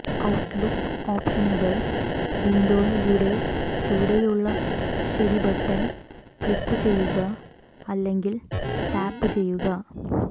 outlook ഓപ്ഷനുകൾ വിൻഡോയുടെ ചുവടെയുള്ള ശരി ബട്ടൺ ക്ലിക്കുചെയ്യുക അല്ലെങ്കിൽ ടാപ്പുചെയ്യുക